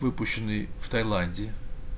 выпущенные в таиланде